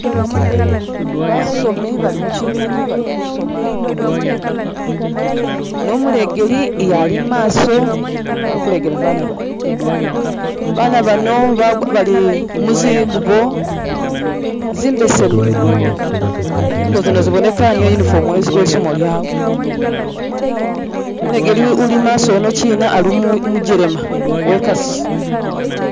Basomi bali muchibina bali kusoma ne umulegeli Ali mumaaso ali kulegela baana bano baana bano ba bali musingubo zimbesemu, zingubo zino ziboneka niyo uniform welisomelo lyawe, umulegeli uli imaaso eno china ali umukelema wekasi